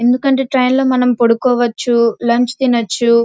ఎందుకంటే ట్రైన్ లో మనం పడుకోవచ్చు లంచ్ తినొచ్చు.